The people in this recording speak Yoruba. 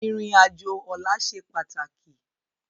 Irin ájó òlà sé pátáki